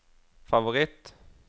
favoritt